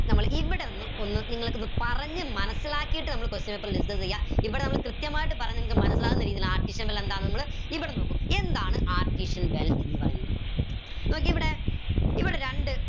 നമ്മൾ ഇവിടുന്ന് ഒന്ന് നിങ്ങൾക്ക് ഒന്ന് പറഞ്ഞ് മനസിലാക്കിട്ട് നമ്മൾ question paper discuss എയ ഇവിടെ നമ്മൾ കൃത്യമായിട്ട് പറഞ്ഞ് നിങ്ങക്ക് മനസിലാവുന്ന രീതിയിൽ ഇവിടെ നോക്കു എന്താണ് ന്ന് പറയുന്നത് നോക്കിയേ ഇവിടെ ഇവിടെ രണ്ട്